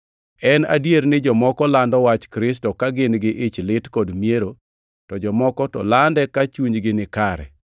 En adier ni jomoko lando wach Kristo ka gin-gi ich lit kod miero, to jomoko to lande ka chunygi ni kare.